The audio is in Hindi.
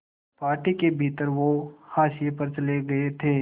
पार्टी के भीतर वो हाशिए पर चले गए थे